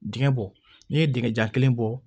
Dingɛ bɔ n'i ye dingɛ jan kelen bɔ